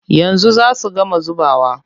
Yanzu za su gama zubawa.